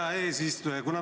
Hea eesistuja!